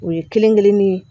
O ye kelen kelen ni ye